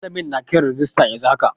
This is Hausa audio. Malamin na kiran rijista yanzu haka.